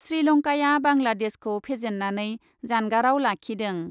श्रीलंकाया बांलादेशखौ फेजेन्नानै जानगाराव लाखिदों ।